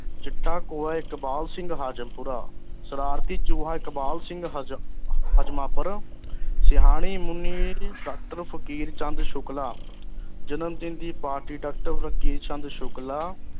ਚਿੱਟਾ ਕੋਹਾਂ ਇਕਬਾਲ ਸਿੰਘ ਹਾਜ਼ਮਪੁਰਾ ਸ਼ਰਾਰਤੀ ਚੂਹਾ ਇਕ਼ਬਾਲ ਸਿੰਘ ਹਜ਼ਮ ਹਜ਼ਮਪੁਰ ਸਿਆਣੀ ਮੁਨੀ ਅਹ ਡਾਕਟਰ ਫ਼ਕੀਰ ਚੰਦ ਸ਼ੁਕਲਾ ਜਨਮਦਿਨ ਦੀ ਪਾਰਟੀ ਡਾਕਟਰ ਫ਼ਕੀਰ ਚੰਦ ਸ਼ੁਕਲਾ